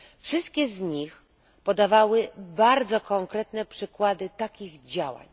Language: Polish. Wszyscy z nich podawali bardzo konkretne przykłady takich działań.